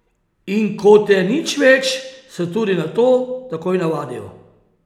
In ko te nič več, se tudi na to takoj navadijo.